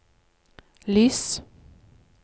lys